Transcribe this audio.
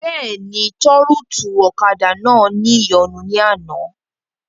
Bẹ́ẹ̀ni, tọ́rùtù ọ̀kadà náà ní ìyọnu ní àná